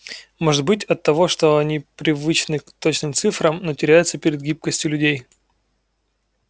может быть оттого что они привычны к точным цифрам но теряются перед гибкостью людей